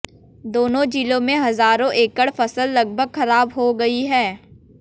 दोनों जिलों में हजारों एकड़ फसल लगभग खराब हो गई है